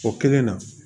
O kelen na